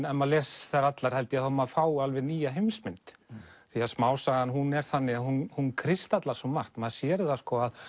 ef maður les þær allar held ég að maður fái alveg nýja heimsmynd því smásagan er þannig að hún hún kristallar svo margt maður sér að